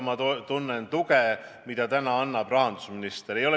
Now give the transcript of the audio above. Ma tunnen ka tuge, mida täna annab rahandusminister.